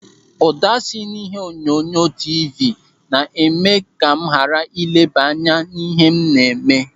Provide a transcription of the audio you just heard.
Ụda si n'ihe onyonyo tiivii na-eme m ka m ghara ịleba anya n'ihe m na-eme.